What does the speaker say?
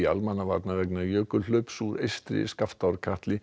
almannavarna vegna jökulhlaups úr eystri